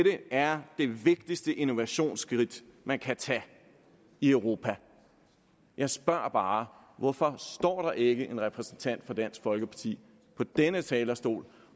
er det vigtigste innovationsskridt man kan tage i europa jeg spørger bare hvorfor står der ikke en repræsentant for dansk folkeparti på denne talerstol